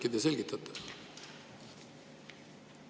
Äkki te selgitate?